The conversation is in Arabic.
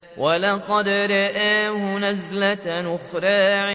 وَلَقَدْ رَآهُ نَزْلَةً أُخْرَىٰ